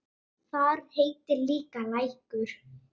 Þar heitir líka Lækur.